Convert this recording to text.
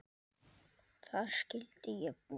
Þar skyldi ég búa.